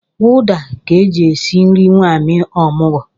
Ụda ka e ji esi nri nwanyị omụgwọ